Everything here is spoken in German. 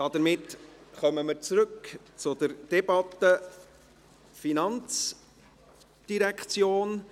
Damit kommen wir zurück zur Debatte der FIN.